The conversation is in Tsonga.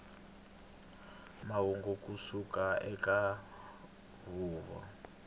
mahungu ku suka eka huvo